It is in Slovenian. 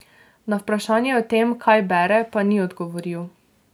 Na vprašanje o tem, kaj bere, pa ni odgovoril.